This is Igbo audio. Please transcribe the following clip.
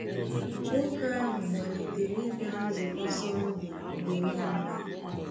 Nwoke ahụ malitere ịbịa nzukọ Sọndee mgbe niile.